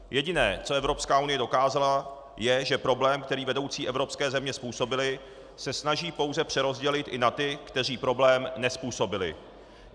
Jediné, co Evropská unie dokázala, je, že problém, který vedoucí evropské země způsobily, se snaží pouze přerozdělit i na ty, kteří problém nezpůsobily.